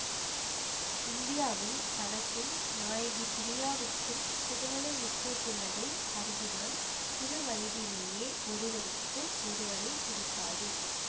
இந்தியாவில் தனக்கும் நாயகி பிரியாவுக்கும் திருமணம் நிச்சயித்துள்ளதை அறிகிறான் சிறுவயதிலேயே ஒருவருக்கு ஒருவரை பிடிக்காது